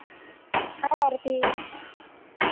Hi Aarti